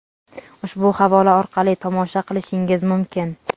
ushbu havola orqali tomosha qilishingiz mumkin.